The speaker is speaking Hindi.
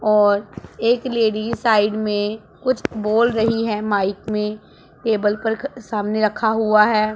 और एक लेडी साइड में कुछ बोल रही है माइक में टेबल पर सामने रखा हुआ है।